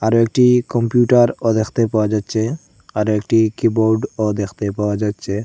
আরো একটি কম্পিউটারও দেখতে পাওয়া যাচ্ছে আরো একটি কিবোর্ডও দেখতে পাওয়া যাচ্ছে।